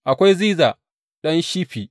Akwai Ziza ɗan Shifi.